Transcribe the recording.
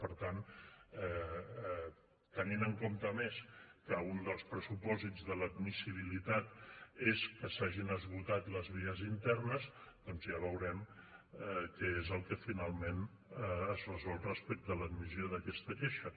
per tant tenint en compte a més que un dels pressupòsits de l’admissibilitat és que s’hagin esgotat les vies internes doncs ja veurem què és el que finalment es resol respecte a l’admissió d’aquesta queixa